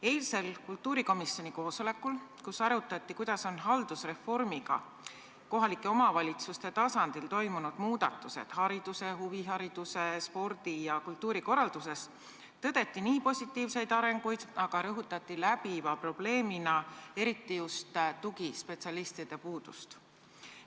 Eilsel kultuurikomisjoni koosolekul, kus arutati, kuidas on haldusreformi tõttu kohalike omavalitsuste tasandil toimunud muudatused hariduse, huvihariduse, spordi ja kultuuri korralduses, tõdeti positiivseid arenguid, aga rõhutati läbiva probleemina eriti just tugispetsialistide puudust.